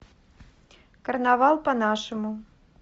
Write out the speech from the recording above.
карнавал по нашему